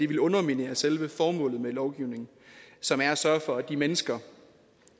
ville underminere selve formålet med lovgivningen som er at sørge for at de mennesker